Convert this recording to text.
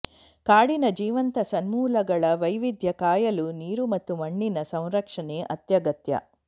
ಕಾಡಿನ ಜೀವಂತ ಸಂಪನ್ಮೂಲಗಳ ವೈವಿಧ್ಯ ಕಾಯಲು ನೀರು ಮತ್ತು ಮಣ್ಣಿನ ಸಂರಕ್ಷಣೆ ಅತ್ಯಗತ್ಯ